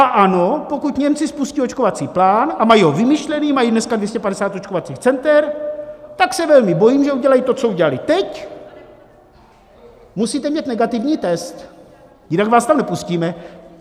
A ano, pokud Němci spustí očkovací plán, a mají ho vymyšlený, mají dneska 250 očkovacích center, tak se velmi bojím, že udělají to, co udělali teď: musíte mít negativní test, jinak vás tam nepustíme.